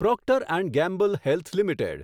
Procter and Gamble health limited